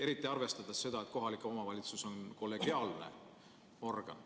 Eriti arvestades seda, et kohalik omavalitsus on kollegiaalne organ.